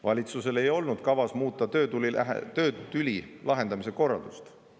" Valitsusel ei olnud kavas muuta töötüli lahendamise korraldust.